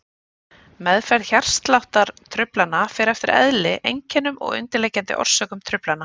Meðferð hjartsláttartruflana fer eftir eðli, einkennum og undirliggjandi orsökum truflana.